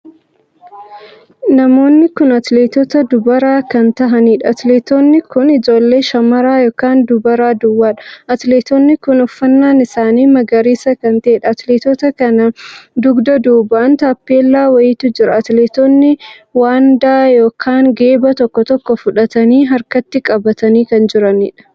Namoonni kun atileetota dubaraa kan tahaniidha. atileetonni kun ijoollee shamaraa ykn dubaraa duwwaadha. atileetonni kun uffannaan isaanii magariisa kan taheedha. atileetota kana dugda duubaan taappellaa wayiitu jira. atileetonni waandaa ykn geeba tokko tokko fudhatanii harkatti qabatanii kan jiraniidhaam!